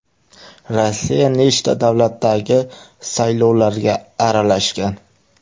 Rossiya nechta davlatdagi saylovlarga aralashgan?